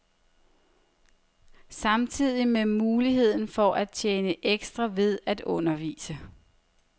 Stadig med muligheden for at tjene ekstra ved at undervise.